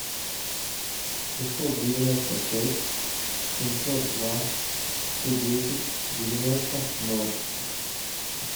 шестьсот девяносто шесть семьсот два сто десять девяносто ноль